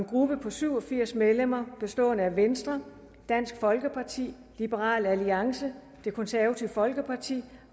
gruppe på syv og firs medlemmer venstre dansk folkeparti liberal alliance det konservative folkeparti